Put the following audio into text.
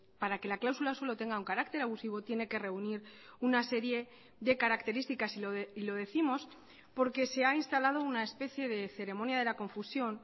para que la cláusula suelo tenga un carácter abusivo tiene que reunir una serie de características y lo décimos porque se ha instalado una especie de ceremonia de la confusión